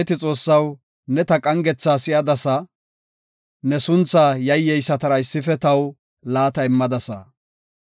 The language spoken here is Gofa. Abeeti Xoossaw, ne ta qangetha si7adasa; ne suntha yayyeysatara issife taw laata immadasa.